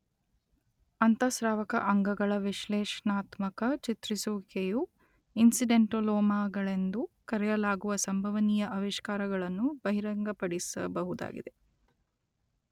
ಅಂತಃಸ್ರಾವಕ ಅಂಗಗಳ ವಿಶ್ಲೇಷಣಾತ್ಮಕ ಚಿತ್ರಿಸುವಿಕೆಯು ಇನ್ಸಿಡೆಂಟಾಲೋಮಾಗಳೆಂದು ಕರೆಯಲಾಗುವ ಸಂಭವನೀಯ ಆವಿಷ್ಕಾರಗಳನ್ನು ಬಹಿರಂಗಪಡಿಸಬಹುದಾಗಿದೆ